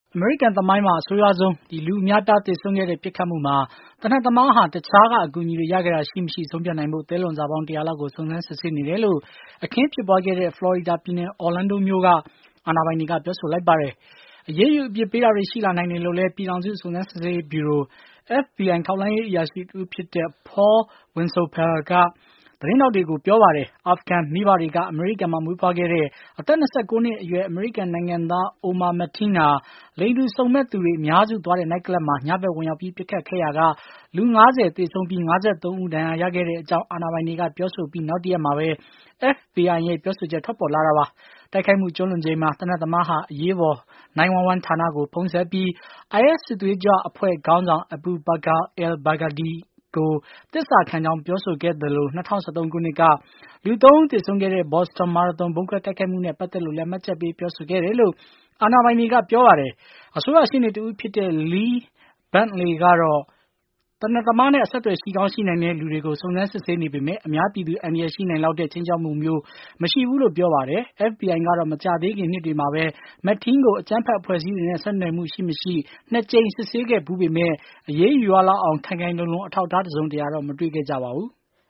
အမေရိကန် သမိုင်းမှာ အဆိုးရွားဆုံး လူအများအပြား သေဆုံးခဲ့တဲ့ ပစ်ခတ်မှုမှာ သေနတ်သမားဟာ တခြားက အကူအညီတွေ ရခဲ့တာ ရှိမရှိ ဆုံးဖြတ်နိုင်ဖို့ သဲလွန်စပေါင်း ၁၀၀ လောက်ကို စုံစမ်းစစ်ဆေးနေတယ်လို့ အခင်းဖြစ်ခဲ့တဲ့ ဖလော်ရီဒါပြည်နယ်၊ Orlando မြို့က အာဏာပိုင်တွေက ပြောပါတယ်။ အရေးယူ အပြစ်ပေးတာတွေ ရှိလာနိုင်တယ်လို့လည်း ပြည်ထောင်စု စုံစမ်းစစ်ဆေးရေးဗျုရို (FBI) ထောက်လှမ်းရေး အရာရှိတဦးဖြစ်တဲ့ Paul Wysopal က သတင်းထောက်တွေကို ပြောပါတယ်။ အာဖဂန်မိဖတွေက အမေရိကန်မှာ မွေးဖွားခဲ့တဲ့ အသက် ၂၉ နှစ်အရွယ် အမေရိကန်နိုင်ငံသား Omar Saddiqui Mateen ဟာ လိင်တူစုံမက်သူတွေ အများစုသွားတဲ့ နိုက်ကလပ်မှာ ညဖက်ဝင်ရောက်ပြီး ပစ်ခတ်ခဲ့ရာက လူ ၄၉ ဦး၊ သေဆုံးပြီး ၅၃ ယောက် ဒဏ်ရာရခဲ့တဲ့အကြောင်း အာဏာပိုင်တွေ ပြောဆိုခဲ့အပြီး နောက်တရက်မှာပဲ FBI ရဲ့ ပြောဆိုချက်ထွက်ပေါ်လာတာပါ။ တိုက်ခိုက်မှု ကျုးလွန်ချိန်မှာ သေနတ်သမားဟာ အရေးပေါ် 911 ဌာနကို ဖုန်းဆက်ပြီး၊ IS စစ်သွေးကြွအဖွဲ့ခေါင်းဆောင် Abu Bakr al-Baghdadi ကို သစ္စာခံကြောင်း ပြောဆိုခဲ့သလို၊ ၂၀၁၃ ခုနှစ်က လူ ၃ ဦး သေဆုံးခဲ့တဲ့ ဘော်စတွန်မာရသွန် ဗုံးခွဲတိုက်ခိုက်မှုနဲ့ ပတ်သက်လို့လည်း မှတ်ချက်ပေး ပြောဆိုခဲ့တယ်လို့ အာဏာပိုင်တွေက ပြောပါတယ်။ အစိုးရရှေ့နေတဦးဖြစ်တဲ့ Lee Bentley ကတော့ သေနတ်သမားနဲ့ အဆက်အသွယ် ရှိကောင်း ရှိနိုင်တဲ့လူတွေကို စုံစမ်းစစ်ဆေးနေပေမဲ့၊ အများပြည်သူ အန္တရာယ်ရှိနိုင်လောက်တဲ့ ခြိမ်းခြောက်မှုမျိုးတော့ မရှိဘူးလို့လည်း ပြောပါတယ်။ FBI ကတော့ မကြာသေးခင်နှစ်တွေမှာပဲ Mateen ကို အကြမ်းဖက်အဖွဲ့အစည်းတွေနဲ့ ဆက်နွယ်မှု ရှိမရှိ ၂ ကြိမ် စစ်ဆေးခဲ့ဖူးပေမဲ့ အရေးယူရလောက်အောင် ခိုင်ခိုင်လုံလုံ အထောက်အထား တစုံတရတော့ မတွေ့ခဲ့ကြပါဘူး။